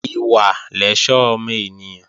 Ìwà lẹ̀ṣọ́ ọmọ ènìyàn